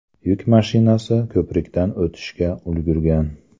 Yuk mashinasi ko‘prikdan o‘tishga ulgurgan.